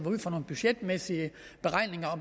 ud fra nogle budgetmæssige beregninger